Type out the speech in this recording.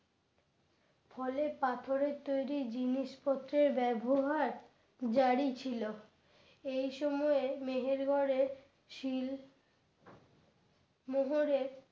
ফলে পাথরের তৈরি জিনিসপত্রের ব্যবহার জারি ছিল এই সময়ে মেহেরগরের শীল মোহরের